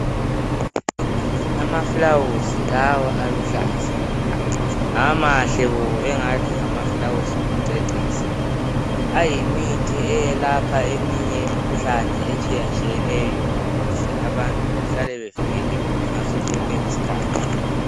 Amafulawuzi lawa aluhlaza ,amahle bo engathi ngamafulawuzi okucecisa. Ayimithi elapha eminye imikhuhlane etshiyatshiyeneyo ukuze abantu bahlale bevikelekile ngaso sonke isikhathi.